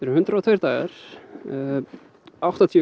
hundrað og tveir dagar áttatíu